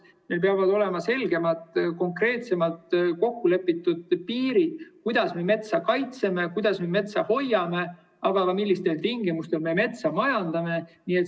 Meil peavad olema selgemad, konkreetsemad, kokkulepitud piirid, kuidas me metsa kaitseme, kuidas me metsa hoiame, aga ka see, millistel tingimustel me metsa majandane.